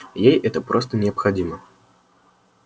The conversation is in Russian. ей это просто необходимо